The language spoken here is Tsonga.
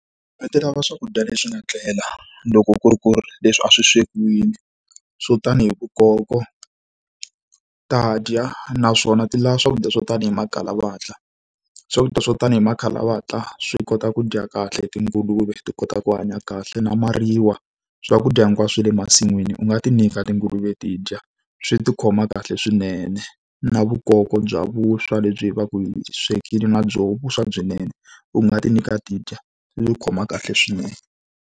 Ti lava swakudya leswi nga tlela, loko ku ri ku ri leswi a swi swekiwile swo ta ni hi vukoko, ta dya. Naswona ti lava swakudya swo tani hi makhalavatla. Swakudya swo tanihi makhalavatla swi kota ku dya kahle tinguluve, ti kota ku hanya kahle na mariwa. Swakudya hinkwaswo swa le masin'wini u nga ti nyika tinguluve ti dya. Swi ti khoma kahle swinene. Na vukoko bya vuswa lebyi u va ka u byi swekile na byoho vuswa byinene, u nga ti nyika ti dya, swi ti khoma kahle swinene.